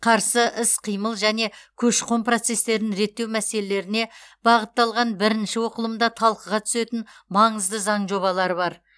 қарсы іс қимыл және көші қон процестерін реттеу мәселелеріне бағытталған бірінші оқылымда талқыға түсетін маңызды заң жобалары бар